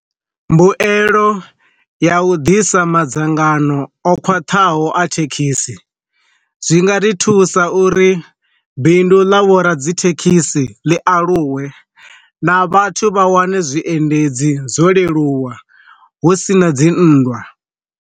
Mbuelo ya u ḓisa madzangano o khwaṱhaho a thekhisi, zwi nga ri thusa uri bindu ḽa vho ra dzi thekhisi ḽi aluwe na vhathu vha wane zwiendedzi zwo leluwa hu sina dzi nndwa.